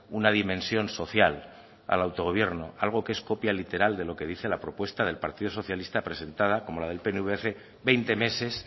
una dimensión social al autogobierno algo que es copia literal de lo que dice la propuesta del partido socialista presentada como la del pnv hace veinte meses